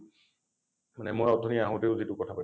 মানে মই অথনি আহোঁতেও যিটো কথা পতিছোঁ।